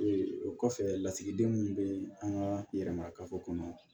o kɔfɛ lasigiden min bɛ an ka yɛrɛmakafo kɔnɔ